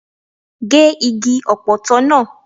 Gé igi Ọ̀pọ̀tọ́ náà!